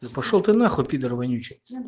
пошёл ты нахуй пидор вонючий